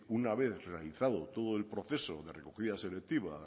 una vez realizado todo el proceso de recogida selectiva